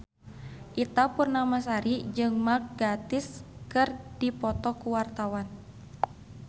Ita Purnamasari jeung Mark Gatiss keur dipoto ku wartawan